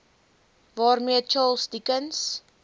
waarmee charles dickens